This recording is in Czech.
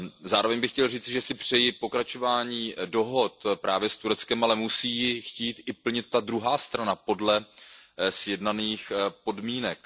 Zároveň bych chtěl říci, že si přeji pokračování dohod právě s Tureckem, ale musí je chtít plnit i ta druhá strana podle sjednaných podmínek.